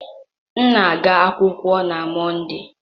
M na-aga akwụkwọ na Mọnde